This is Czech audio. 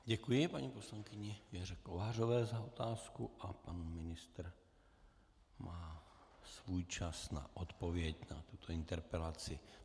Děkuji paní poslankyni Věře Kovářové za otázku a pan ministr má svůj čas na odpověď na tuto interpelaci.